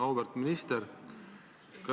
Auväärt minister!